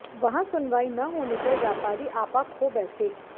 वहां सुनवाई न होने पर व्यापारी आपा खो बैठै